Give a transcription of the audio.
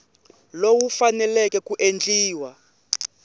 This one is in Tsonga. lowu wu faneleke ku endliwa